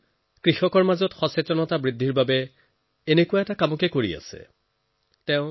কৃষকৰ মাজত সজাগতা বৃদ্ধিৰ বাবে এনেকুৱাই এটা কাম কৰি আছে ৰাজস্থানৰ বাৰাঁ জিলাত থকা মহম্মদ আছলামজীয়ে